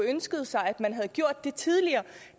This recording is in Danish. ønsket sig at man havde gjort det tidligere